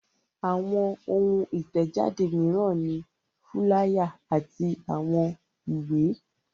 Àwọn ohun ìtẹ̀jáde mìíràn ni fúláyà àti àwọn ìwé.